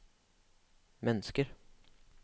mennesker